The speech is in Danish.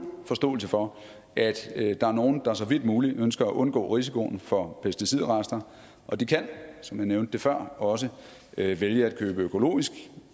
forståelse for at der er nogle der så vidt muligt ønsker at undgå risikoen for pesticidrester og de kan som jeg nævnte det før også vælge at købe økologisk